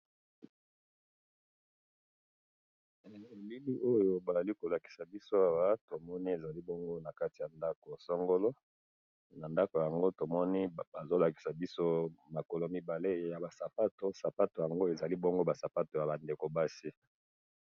na bilili oyo bazali kolakisa biso awa, tomoni ezali bongo nakati ya ndako songolo, na ndako yango tomoni bazolakisa biso makolo mibale yaba sapatu, sapatu yango ezali bongo ba sapatu yaba ndeko basi